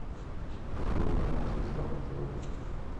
открой канал звезда на тв